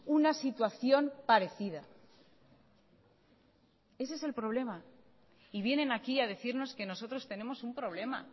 una situación parecida ese es el problema y vienen aquí a decirnos que nosotros tenemos un problema